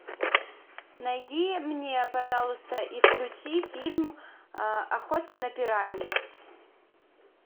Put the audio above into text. найди мне пожалуйста и включи фильм охота на пиранью